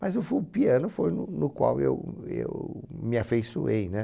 Mas o fo o piano foi no no qual eu eu me afeiçoei, né?